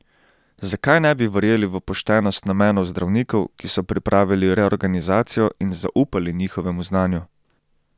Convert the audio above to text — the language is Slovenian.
Zakaj ne bi verjeli v poštenost namenov zdravnikov, ki so pripravili reorganizacijo in zaupali njihovemu znanju?